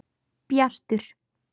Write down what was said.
Bjartur